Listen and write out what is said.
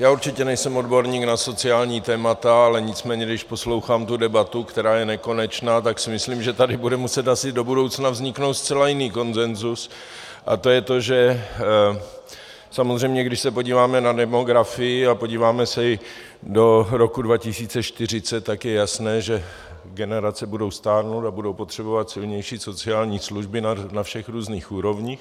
Já určitě nejsem odborník na sociální témata, ale nicméně když poslouchám tu debatu, která je nekonečná, tak si myslím, že tady bude muset asi do budoucna vzniknout zcela jiný konsenzus, a to je to, že samozřejmě když se podíváme na demografii a podíváme se i do roku 2040, tak je jasné, že generace budou stárnout a budou potřebovat silnější sociální služby na všech různých úrovních.